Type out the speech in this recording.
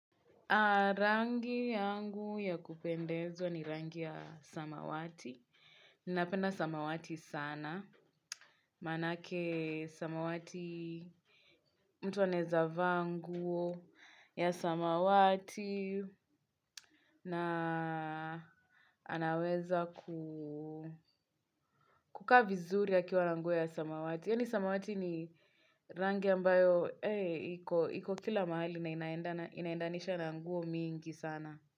Rangi yangu ya kupendezwa ni rangi ya samawati. Ninapenda samawati sana. Maanake samawati mtu anaeza vaa nguo ya samawati. Na anaweza kukaa vizuri akiwa na nguo ya samawati. Yaani samawati ni rangi ambayo iko kila mahali na inaendanisha na nguo mingi sana.